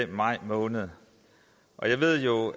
maj måned og jeg ved jo